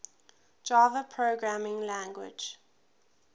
java programming language